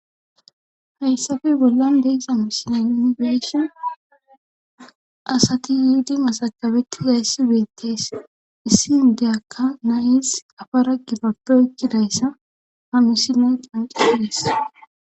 Hayssape bollan deyxami sina yunigeshon asati yuhuda masakabeti zayssi ubeettees issi udeyakka nayis afa ra gibabpoecidayssa hamusi mon qanqisidees